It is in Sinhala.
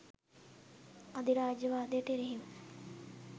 අධිරාජ්‍යවාදයට එරෙහිව